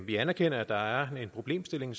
vi anerkender at der er en problemstilling